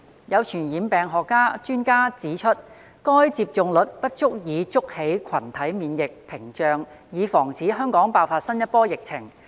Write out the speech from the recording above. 有傳染病學專家指出，該接種率不足以築起群體免疫屏障以防止香港爆發新一波疫情。